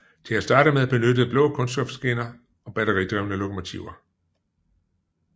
Til at starte med benyttedes blå kunststofskinner og batteridrevne lokomotiver